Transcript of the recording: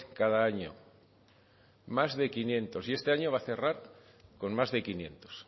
cada año más de quinientos y este año va a cerrar con más de quinientos